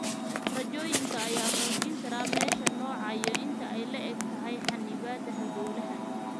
Raajooyinka ayaa muujin kara meesha, nooca, iyo inta ay le'eg tahay xannibaadda halbowlaha.